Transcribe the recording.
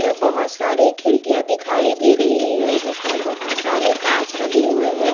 बहुत सारी खिड़कियां दिखाई दे रही है जिसमें बहुत सारे कांच लगे हुए हैं।